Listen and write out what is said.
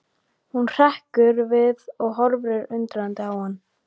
Hún hrekkur við og horfir undrandi á hann.